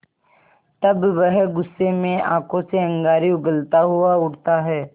तब वह गुस्से में आँखों से अंगारे उगलता हुआ उठता है